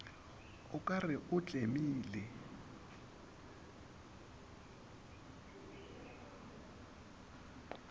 o ka re o tlemile